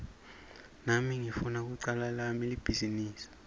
nami ngifuna kucala lami libhizinisi